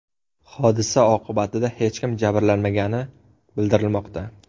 Hodisa oqibatida hech kim jabrlanmagani bildirilmoqda.